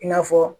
I n'a fɔ